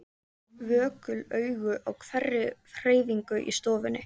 Vökul augu á hverri hreyfingu í stofunni.